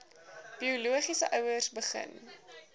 biologiese ouers begin